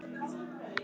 Núna veit ég betur.